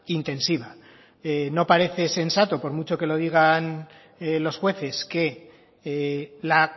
intensiva no parece sensato por mucho que lo digan los jueces que la